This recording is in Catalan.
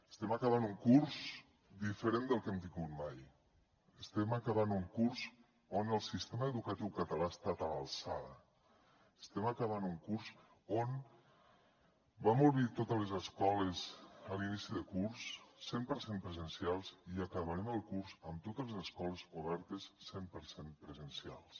estem acabant un curs diferent del que hem tingut mai estem acabant un curs on el sistema educatiu català ha estat a l’alçada estem acabant un curs on vam obrir totes les escoles a l’inici de curs cent per cent presencials i acabarem el curs amb totes les escoles obertes cent per cent presencials